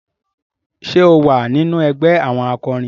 Ṣe o wà nínú ẹgbẹ àwọn akorin?